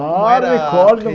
Ah recordo Como era a